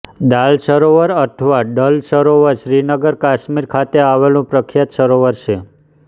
દાલ સરોવર અથવા ડલ સરોવર શ્રીનગર કાશ્મીર ખાતે આવેલું પ્રખ્યાત સરોવર છે